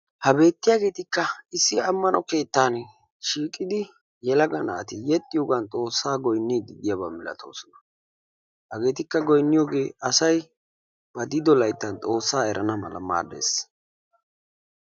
Ha beettiyageetikka issi ammano keettaani shiiqidi yelaga naati yexxiyogan xoossaa goynniiddi de"iyaba malatoosona. Hageetikka goynniyogee asayi ba de"ido layttan xoossaa erana mala maaddes.